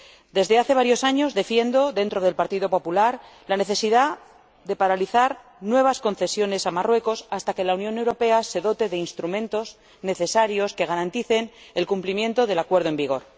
Desde hace varios años defiendo, dentro del Partido Popular, la necesidad de paralizar nuevas concesiones a Marruecos hasta que la Unión Europea se dote de los instrumentos necesarios que garanticen el cumplimiento del acuerdo en vigor.